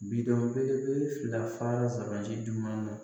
Bidon belebele fila fara sabati jumɛn na